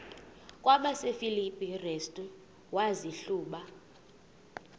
kwabasefilipi restu wazihluba